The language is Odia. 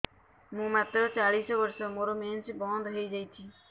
ମୁଁ ମାତ୍ର ଚାଳିଶ ବର୍ଷ ମୋର ମେନ୍ସ ବନ୍ଦ ହେଇଯାଇଛି